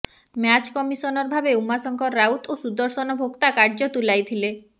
match commissioner ଭାବେ ଉମାଶଙ୍କର ରାଉତ ଓ ସୁଦର୍ଶନ ଭୋକ୍ତା କାର୍ଯ୍ୟ ତୁଲାଇଥିଲେ